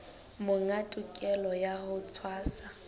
monga tokelo ya ho tshwasa